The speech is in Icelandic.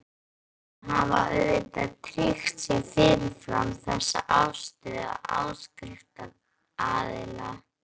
Stofnendur hafa auðvitað tryggt sér fyrirfram þessa afstöðu áskriftaraðila.